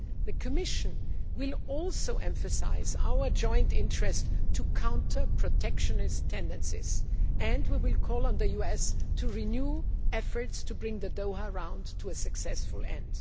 The Commission will also emphasise our joint interest in countering protectionist tendencies and we will call on the US to renew efforts to bring the Doha Round to a successful end.